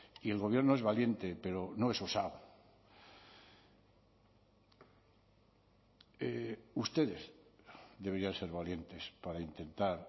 y el gobierno es valiente pero no es osado ustedes deberían ser valientes para intentar